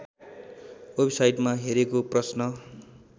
वेबसाइटमा हेरेको प्रश्न